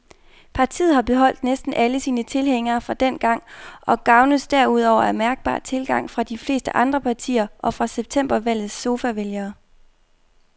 Partiet har beholdt næsten alle sine tilhængere fra dengang og gavnes derudover af mærkbar tilgang fra de fleste andre partier og fra septembervalgets sofavælgere.